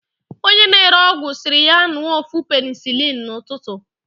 onye na-ere ọgwụ siri ya ńụọ ofu penicilin na ututu.